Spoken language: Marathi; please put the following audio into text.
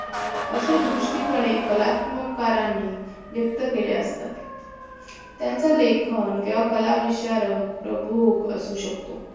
असे दुष्टी पणे कलात्मक कारणी व्यक्त केले असतात त्याचा लेखन किंवा कला विशारक प्रभूत असू शकतो